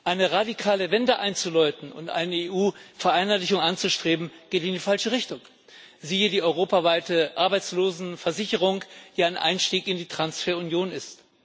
Eine radikale Wende einzuläuten und eine EU weite Vereinheitlichung anzustreben, geht in die falsche Richtung siehe die europaweite Arbeitslosenversicherung, die ein Einstieg in die Transferunion ist.